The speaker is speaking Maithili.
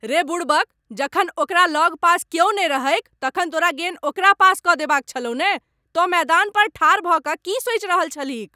रे बुड़बक। जखन ओकरा लगपास क्यौ नहि रहैक तखन तोरा गेन ओकरा पास कऽ देबाक छलहु ने। तों मैदान पर ठाढ़ भऽ कऽ की सोचि रहल छलहिक?